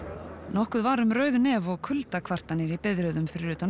nokkuð var um rauð nef og kuldakvartanir í biðröðum fyrir utan